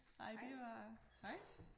Nej det var hej